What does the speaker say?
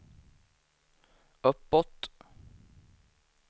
uppåt